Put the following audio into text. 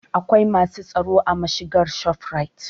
Akwai masu tsaro a mashigar shofurait